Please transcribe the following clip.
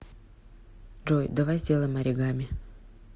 джой давай сделаем оригами